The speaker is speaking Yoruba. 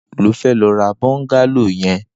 Nigbà wó ló fè rà bọngàló yèn